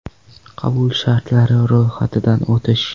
Qabul shartlari: ro‘yxatidan o‘tish.